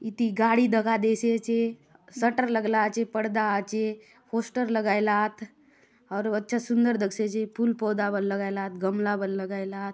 इति गाड़ी दखा देयसि आचे शटर लगला आचे पर्दा आचे पोस्टर लगाय ला आत आउर अच्छा सुंदर दखसि आचे फूल पौधा बले लगाय ला आत गमला बले लगाय ला आत।